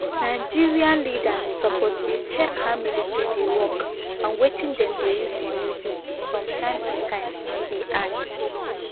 nigerian leaders suppose dey check how military dey work and wetin dem dey use money do from time to time e add